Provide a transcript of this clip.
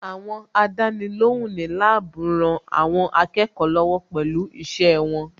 Àwọn Àdánilóhùn ní láàbù rán àwọn akẹ́kọ̀ọ́ lọ́wọ́ pẹ̀lú iṣẹ́ wọn